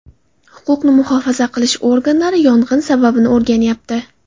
Huquqni muhofaza qilish organlari yong‘in sababini o‘rganyapti.